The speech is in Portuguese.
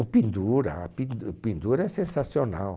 O pendura, a pin, o pendura é sensacional.